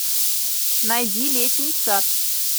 найди летний сад